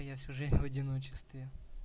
я всю жизнь в одиночестве